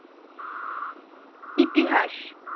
ইতিহাস